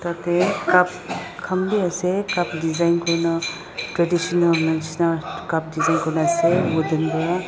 yati cup kan be ase cup design kurikina traditional neshina cup design kurikina ase yatibe toh.